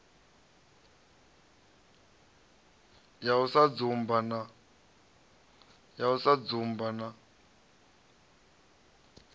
ya u sa dzumba na